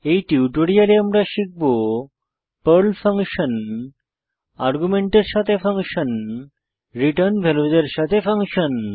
এই টিউটোরিয়ালে আমরা শিখব পর্ল ফাংশন আর্গুমেন্টের সাথে ফাংশন রিটার্ন ভ্যালুসের সাথে ফাংশন